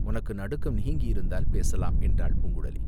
உனக்கு நடுக்கம் நீங்கியிருந்தால் பேசலாம்!" என்றாள் பூங்குழலி.